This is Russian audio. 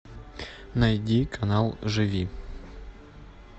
найди канал живи